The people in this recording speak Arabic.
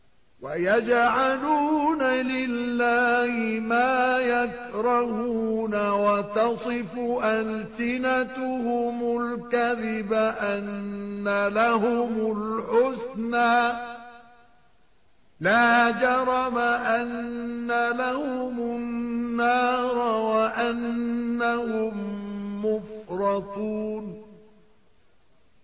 وَيَجْعَلُونَ لِلَّهِ مَا يَكْرَهُونَ وَتَصِفُ أَلْسِنَتُهُمُ الْكَذِبَ أَنَّ لَهُمُ الْحُسْنَىٰ ۖ لَا جَرَمَ أَنَّ لَهُمُ النَّارَ وَأَنَّهُم مُّفْرَطُونَ